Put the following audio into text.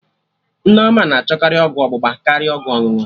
Nneoma na achọkarị ọgwụ ọgbụgba karịa ọgwụ ọṅụṅụ